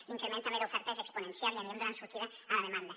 l’increment també d’oferta és exponencial i anirem donant sortida a la demanda